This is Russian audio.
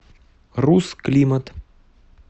русклимат